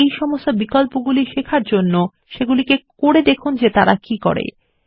আপনি এই সমস্ত বিকল্পগুলি শেখার জন্য করে দেখুন তারা কি করে